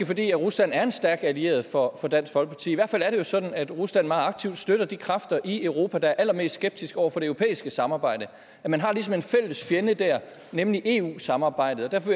fordi rusland er en stærk allieret for dansk folkeparti i hvert fald er det jo sådan at rusland meget aktivt støtter de kræfter i europa der er allermest skeptiske over for det europæiske samarbejde man har ligesom en fælles fjende der nemlig eu samarbejdet og derfor